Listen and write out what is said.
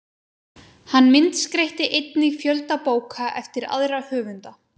Hann myndskreytti einnig fjölda bóka eftir aðra höfunda.